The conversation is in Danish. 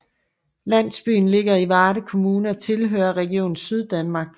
Landsbyen ligger i Varde Kommune og tilhører Region Syddanmark